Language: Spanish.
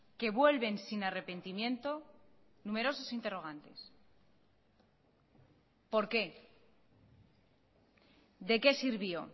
que vuelven sin arrepentimiento numerosos interrogantes por qué de qué sirvió